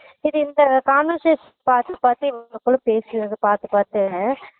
இது இந்த conversation பாத்து பாத்து இவங்களுக்குள்ள பேசிக்குறத பாத்து பாத்து